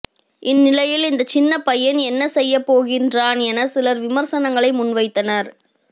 இந்நிலையில் இந்த சின்னபையன் என்ன செய்யப்போகின்றார் என சிலர் விமர்சனங்களை முன்வைத்தனர்